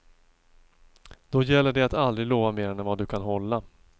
Då gäller det att aldrig lova mer än vad du kan hålla.